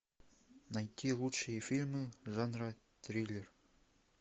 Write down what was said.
найти лучшие фильмы жанра триллер